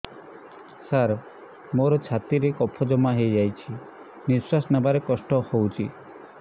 ସାର ମୋର ଛାତି ରେ କଫ ଜମା ହେଇଯାଇଛି ନିଶ୍ୱାସ ନେବାରେ କଷ୍ଟ ହଉଛି